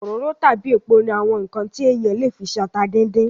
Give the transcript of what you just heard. Òróró tàbí epo ní àwọn ǹkan tí èèyàn le fi se ata díndín